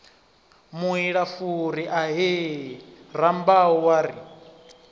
muilafuri ahee rambau wa ri